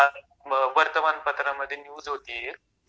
त्या वर्तमानपत्रामधे न्यूज होतो एक